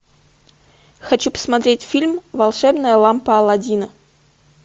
хочу посмотреть фильм волшебная лампа алладина